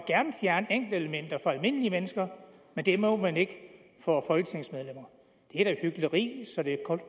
gerne fjerne enkeltelementer for almindelige mennesker men det må man ikke for folketingsmedlemmer det er da hykleri så det